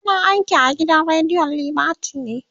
yana aiki a gidan rediyon liberty ne